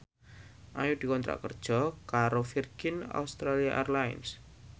Ayu dikontrak kerja karo Virgin Australia Airlines